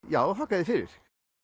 já þakka þér fyrir